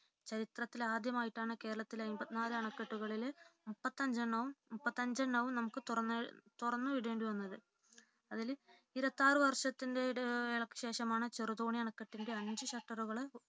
ചരിത്രത്തിലാദ്യമായിട്ടാണ് കേരളത്തിലെ എൺപത്തിനാല് അണകെട്ടുകളിലെ മുപ്പത്തിഅഞ്ചെണ്ണവും നമുക്ക് തുറന്നു വിടേണ്ടിവന്നത് അതിൽ ഇരുപത്തിയാറു വർഷത്തിലെ ഇടവേളക്കുശേഷം ആണ് ചെറുതോണി അണക്കെട്ടിന്റെ അഞ്ചു ഷട്ടറുകളും